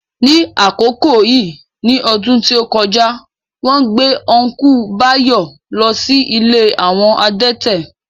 Ní àkókò yìí ní ọdún tí ó kọjá, wón gbé Ọ́nkùlù Báyọ̀ lọ sí ilé àwọn adẹ́tẹ̀